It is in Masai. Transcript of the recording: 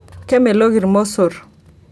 kemelok ilmosorr